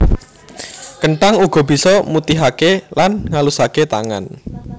Kenthang uga bisa mutihaké lan ngalusaké tangan